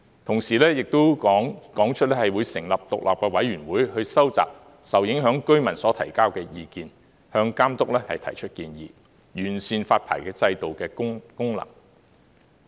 同時，亦表示會成立獨立委員會收集受影響居民所提交的意見，向監督提出建議，完善發牌制度的功能。